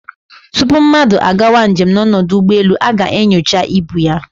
Tupu mmadu a gawa njem n'odu ugboelu, a ga-enyocha ibu ya